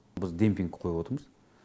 біз демпинг қойып отырмыз